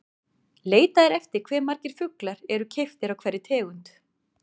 Leitað er eftir hve margir fuglar eru keyptir af hverri tegund.